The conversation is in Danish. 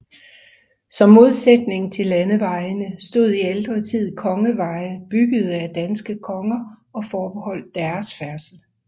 Som modsætning til landevejene stod i ældre tid kongeveje byggede af danske konger og forbeholdte deres færdsel